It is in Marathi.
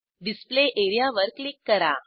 डिस्प्ले एरिया वर क्लिक करा